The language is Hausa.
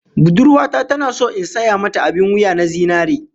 Budurwa ta tana so in saya mata abin wuya na zinare